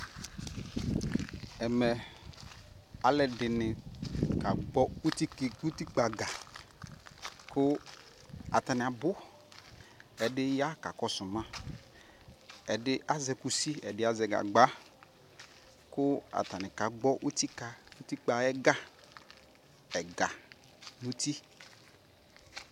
Ɛmɛ ɔluɛ dini ka gbɔ utikpa ga ku ata ni abuƐdi ya ka kɔ su maƐdi azɛ kʋsi Ɛdi azɛ gagba Ku ata ni ka gbɔ utikpa ayɛ ga Ɛga nu ti